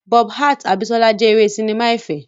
Bob hearts Abisola jẹ́ eré sinimá ẹ̀fẹ̀.